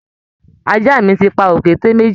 Àja mi ti pa òkété méjì